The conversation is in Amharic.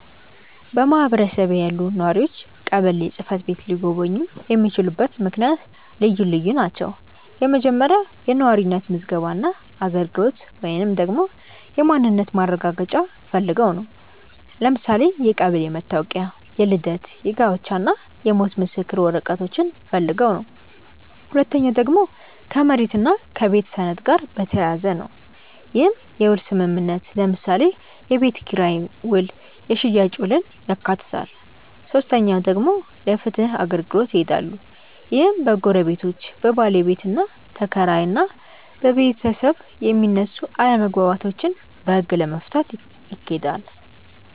በማህበረሰቤ ያሉ ነዋሪዎች ቀበሌ ጽ/ቤት ሊጎበኙ የሚችሉበት ምክንያት ልዩ ልዩ ናቸው። የመጀመሪያው የነዋሪነት ምዝገባ እና አገልግሎት ወይንም ደግሞ የማንነት ማረጋገጫ ፈልገው ነው። ለምሳሌ የቀበሌ መታወቂያ፣ የልደት፣ የጋብቻ እና የሞት ምስክር ወረቀቶችን ፈልገው ነው። ሁለተኛው ደግሞ ከመሬት እና ከቤት ሰነድ ጋር በተያያዘ ነው። ይህም የውል ስምምነትን ለምሳሌ የቤት ኪራይ ውል የሽያጭ ውልን ያካትታል። ሶስተኛው ደግሞ ለፍትህ አገልግሎት ይሄዳሉ። ይህም በጎረቤቶች፣ በባለቤትና ተከራይ እና በቤታብ የሚነሱ አለመግባባቶችን በህግ ለመፍታት ይኬዳል።